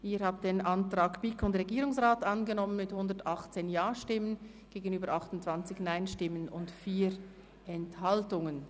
Sie haben den Antrag BiK/Regierungsrat angenommen mit 118 Ja- gegen 28 NeinStimmen bei 4 Enthaltungen.